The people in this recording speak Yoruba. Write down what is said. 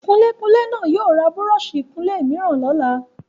Kunlékunlé náà yóò ra búrọ́ọ̀sì ìkunlé mìíràn lọ́la.